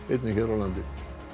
einnig hér á landi